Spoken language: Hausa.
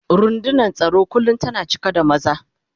Rundunar tsaro kullum tana cika da maza.